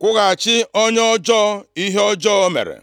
kwụghachi onye ọjọọ ihe ọjọọ ọ mere.”